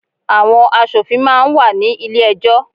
Àwọn asòfin máa ń wà ní ilé ẹjọ́.